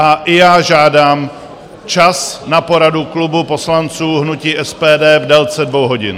A i já žádám čas na poradu klubu poslanců hnutí SPD v délce dvou hodin.